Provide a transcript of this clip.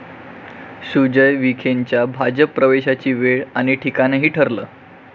सुजय विखेंच्या भाजप प्रवेशाची वेळ आणि ठिकाणही ठरलं!